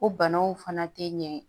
O banaw fana tɛ ɲɛ